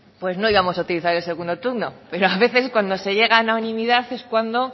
no íbamos a utilizar el segundo turno pero a veces cuando se llega a unanimidad es cuando